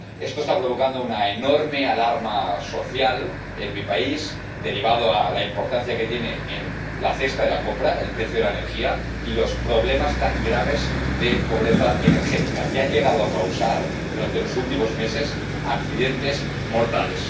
Esto está provocando una enorme alarma social en mi país, derivada de la importancia que tiene en la cesta de la compra el precio de la energía y los problemas tan graves de pobreza energética, que han llegado a causar durante los últimos meses accidentes mortales.